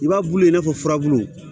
I b'a bulu in n'a fɔ furabulu